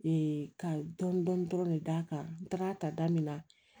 ka dɔɔnin dɔɔnin dɔrɔn ne da kan n tagara ta da min na